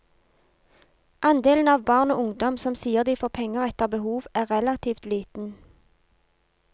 Andelen av barn og ungdom som sier de får penger etter behov er relativt liten.